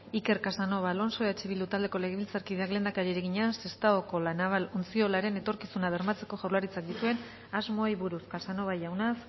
iker casanova alonso eh bildu taldeko legebiltzarkideak lehendakariari egina sestaoko la naval ontziolaren etorkizuna bermatzeko jaurlaritzak dituen asmoei buruz casanova jauna